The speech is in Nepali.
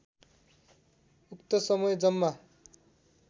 उक्त समय जम्मा